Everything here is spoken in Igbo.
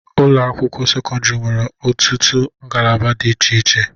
Ụlọ akwụkwọ sekọndiri nwere ọtụtụ ngalaba di iche iche.